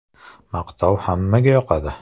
- Maqtov hammaga yoqadi.